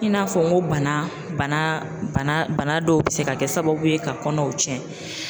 I n'a fɔ n ko bana bana bana banadɔw bɛ se ka kɛ sababu ye ka kɔnɔw tiɲɛ.